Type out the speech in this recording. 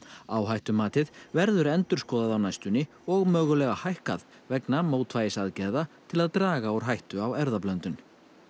áhættumatið verður endurskoðað og og mögulega hækkað vegna mótvægisaðgerða til að draga úr hættu á erfðablöndun